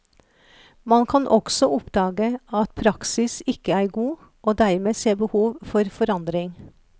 Man kan også oppdage at praksis ikke er god, og dermed se behov for forandring.